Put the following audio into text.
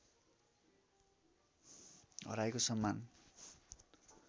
हराएको सम्मान